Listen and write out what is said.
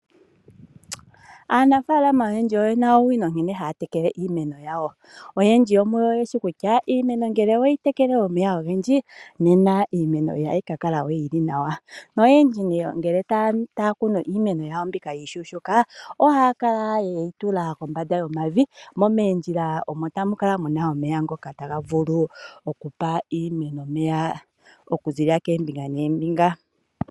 Aanafaalama oyendji oye na owino nkene haya tekele iimeno yawo. Oyendji yomuyo oye shi kutya iimeno ngele owe yi tekele omeya ogendji, nena iimeno ihayi ka kala we yi li nawa noyendji ngele taya kunu iimeno yawo mbika iishuushuuka ohaya kala ye yi tula kombanda yomavi, mo moondjila omo tamu kala mu na omeya ngoka taga vulu okupa iimeno omeya okuziilila koombinga noombinga.